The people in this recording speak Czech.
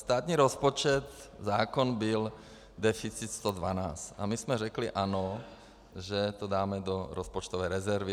Státní rozpočet - zákon byl deficit 112 a my jsme řekli ano, že to dáme do rozpočtové rezervy.